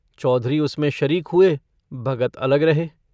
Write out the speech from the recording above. चौधरी उसमें शरीक हुए भगत अलग रहे।